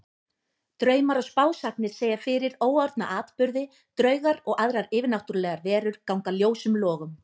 Draumar og spásagnir segja fyrir óorðna atburði, draugar og aðrar yfirnáttúrlegar verur ganga ljósum logum.